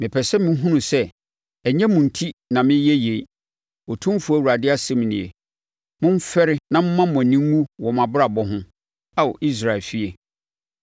Mepɛ sɛ mohunu sɛ ɛnyɛ mo enti na mereyɛ yei, Otumfoɔ Awurade asɛm nie. Momfɛre na momma mo ani nnwu wɔ mo abrabɔ ho, Ao Israel efie.